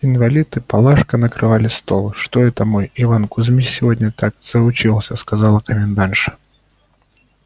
инвалид и палашка накрывали стол что это мой иван кузмич сегодня так заучился сказала комендантша